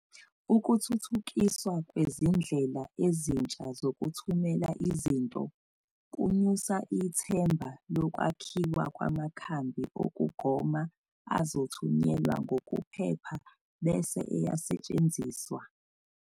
Ukuthuuthukiswa kwezindlela ezintsha zokuthumela izinto, kunyusa ithemba lokwakhuwa kwamakhambi okugoma azothunyelwa ngokuphepha bese eyasetshenziswa.